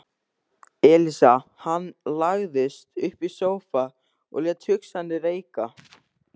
Elísa Hann lagðist upp í sófa og lét hugsanirnar reika.